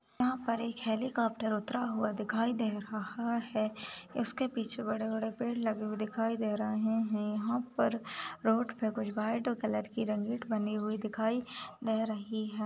यहाँ पर एक हेलिकॉप्टर उतरा हुआ दिखाई दे रहा है उसके पीछे बड़े बड़े पेड़ लगे हुए दिखाई दे रहे है यहाँ पर रोड पर कुछ व्हाइट कलर की रंगीत बनी हुई दिखाई दे रही है।